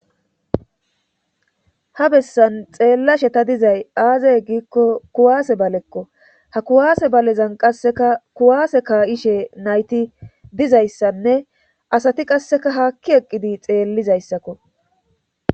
ha bessan xeellashe ta dizay aazey gikko kuwaase balekko ha kuwaase balezan qasseka kuwaase kaa7ishe nayti dizayssanne asati qasseka haakki eqqidi xeellizayssakko